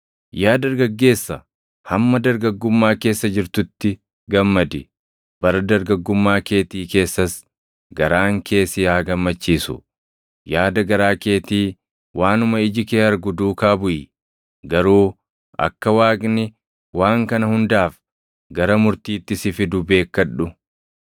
Yaa dargaggeessa, hamma dargaggummaa keessa jirtutti gammadi; bara dargaggummaa keetii keessas garaan kee si haa gammachiisu. Yaada garaa keetii, waanuma iji kee argu duukaa buʼi; garuu akka Waaqni waan kana hundaaf // gara murtiitti si fidu beekkadhu.